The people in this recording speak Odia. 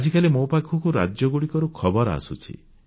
ଆଜିକାଲି ମୋ ପାଖକୁ ରାଜ୍ୟଗୁଡ଼ିକରୁ ଖବର ଆସୁଛି